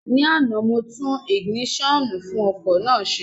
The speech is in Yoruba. Ní àná, mo tún ìgìnísọ̀nù fún ọkọ̀ náà ṣe